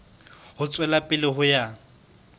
ho tswela pele ho ya